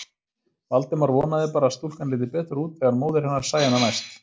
Valdimar vonaði bara að stúlkan liti betur út þegar móðir hennar sæi hana næst.